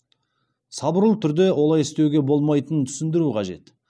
сабырлы түрде олай істеуге болмайтынын түсіндіру қажет